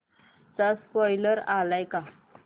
चा स्पोईलर आलाय का